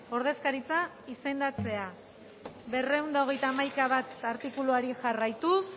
ordezkaritza izendatzea berrehun eta hogeita hamaika puntu bat artikuluari jarraituz